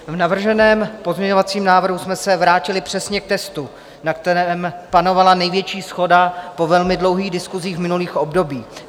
V navrženém pozměňovacím návrhu jsme se vrátili přesně k textu, na kterém panovala největší shoda po velmi dlouhých diskusích v minulých obdobích.